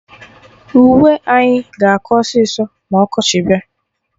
Uwe anyị ga-akọ ọsịsọ ma ọkọchị bịa